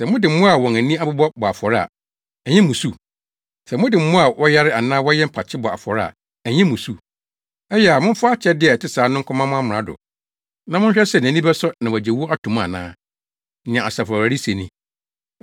Sɛ mode mmoa a wɔn ani abɔ bɔ afɔre a, ɛnyɛ mmusu? Sɛ mode mmoa a wɔyare anaa wɔyɛ mpakye bɔ afɔre a, ɛnyɛ mmusu? Ɛyɛ a, momfa akyɛde a ɛte saa no nkɔma mo amrado, na monhwɛ sɛ, nʼani bɛsɔ na wagye wo ato mu ana?” Nea Asafo Awurade se ni.